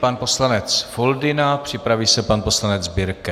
Pan poslanec Foldyna, připraví se pan poslanec Birke.